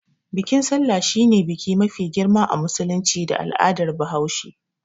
Bikin sallah shine biki mafi girma a musulunci da al'adar bahaushe.